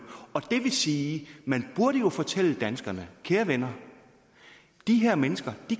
og det vil sige at man burde fortælle danskerne kære venner de her mennesker